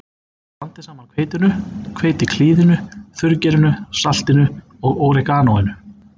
Blandið saman hveitinu, hveitiklíðinu, þurrgerinu, saltinu og óreganóinu.